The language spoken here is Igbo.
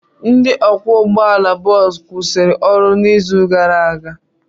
Ndị ọkwọ ụgbọala bọọsụ kwụsịrị ọrụ n'izu gara aga.